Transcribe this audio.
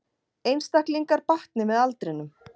Einstaklingar batni með aldrinum